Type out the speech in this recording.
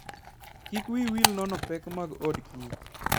Kik wiyi wil nono pek mag odkich.